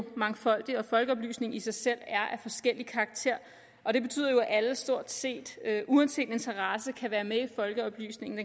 mangfoldig og at folkeoplysning i sig selv er af forskellig karakter og det betyder jo at alle stort set uanset interesse kan være med i folkeoplysningen